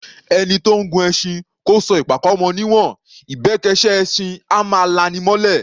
Ẹni tó ńgun ẹṣin kó sọ ìpàkọ́ mọ ní'wọ̀n; ìbẹ́kẹ́ṣẹ́ ẹṣin á máa la’ni mọ́’lẹ̀.